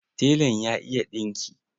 Telan ya iya ɗinki.